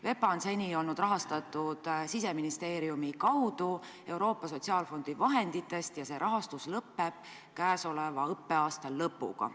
VEPA-t on seni rahastatud Siseministeeriumi kaudu Euroopa Sotsiaalfondi vahenditest ja see rahastus lõpeb käesoleva õppeaasta lõpuga.